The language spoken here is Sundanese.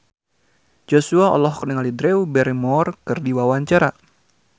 Joshua olohok ningali Drew Barrymore keur diwawancara